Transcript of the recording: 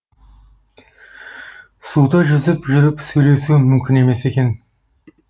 суда жүзіп жүріп сөйлесу мүмкін емес екен